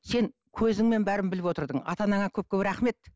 сен көзіңмен бәрін біліп отырдың ата анаңа көп көп рахмет